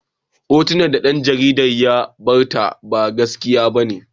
Hotunan da ɗan jaridar ya gabatar ba gaskiya bane.